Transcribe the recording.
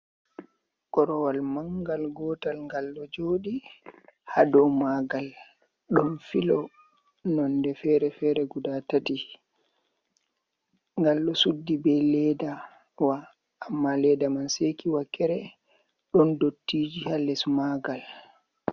Korowal mangal gotal gal ɗo joɗi ha dou magal, ɗon filo nonde fere fere guda tati, gal ɗo suddi be leddawa amma ledda man seki wakere, don dottiji ha les magal.